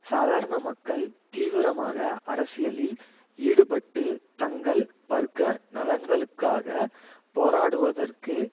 சாதாரண மக்கள் தீவிரமாக அரசியலில் ஈடுபட்டு தங்கள் வர்க்க நலன்களுக்காக போராடுவதற்கு